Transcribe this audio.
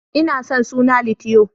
Ina son suna Litiyo.